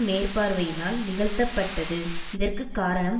மேற்பார்வையினால் நிகழ்த்தப்பட்டது இதற்கு காரணம்